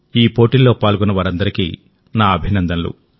ఈ పోటీల్లో పాల్గొన్న వారందరికీ నా అభినందనలు